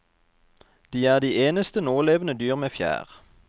De er de eneste nålevende dyr med fjær.